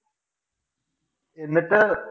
എന്നിട്ട്